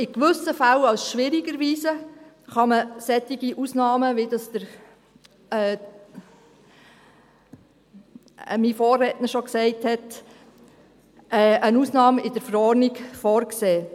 Sollte es sich in gewissen Fällen als schwierig erweisen, könnte man solche Ausnahmen, wie das mein Vorredner schon sagte, in der Verordnung vorsehen.